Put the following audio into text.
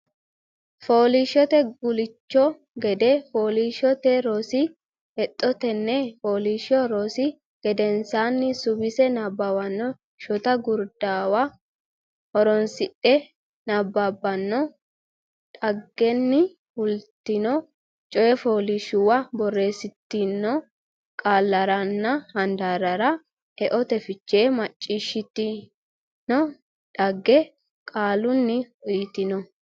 Fooliishshote Guulcho Gade Fooliishshote Rosi Hexxo Tenne fooliishsho rosi gedensaanni suwisse nabbabbanno Shota gurduwa horoonsidhe Nabbabbino dhaggenni fultino coyifooliishshuwa borreessitanno qaallaranna handaarrara eote fiche Macciishshitino dhagge qaalunni uyitanno.